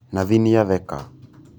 Nathi nīatheka.